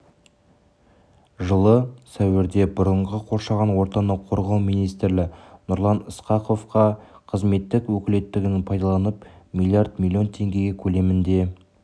жылы сәуірде бұрынғы қоршаған ортаны қорғау министрі нұрлан ысқақовқа қызметтік өкілеттілігін пайдаланып млрд млн теңге көлемінде